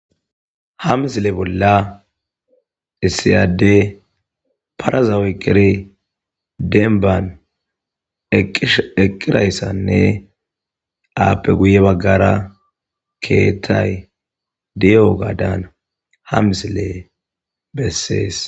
ha misile bolla issi addey parazawueqqiri denban eqqirayssanne aappe guye baggara keettay diyoga daana ha misile bessees